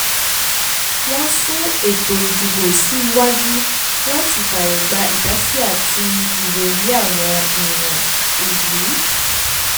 wọ́n sún eto ìdìbò sí iwájú làti fààyè gba ìdásí àti ìròrí àwọn èèyàn ìlú